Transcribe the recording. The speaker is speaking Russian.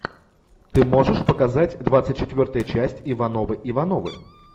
ты можешь показать двадцать четвертая часть ивановы ивановы